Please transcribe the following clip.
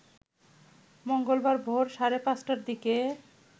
মঙ্গলবার ভোর সাড়ে ৫টার দিকে